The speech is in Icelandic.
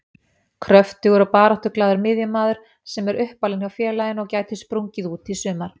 Kröftugur og baráttuglaður miðjumaður sem er uppalinn hjá félaginu og gæti sprungið út í sumar.